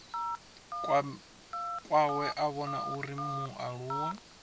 kwawe a vhona uri mualuwa